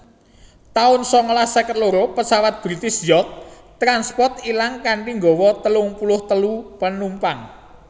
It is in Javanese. taun sangalas seket loro Pesawat British York transport ilang kanthi nggawa telung puluh telu penumpang